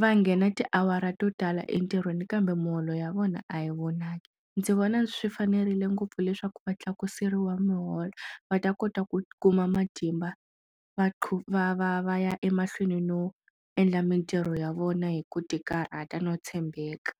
va nghena tiawara to tala entirhweni kambe miholo ya vona a yi vonaki ndzi vona swi fanerile ngopfu leswaku va tlakuseriwa miholo va ta kota ku kuma matimba va va va va ya emahlweni no endla mitirho ya vona hi ku tikarhata no tshembeka.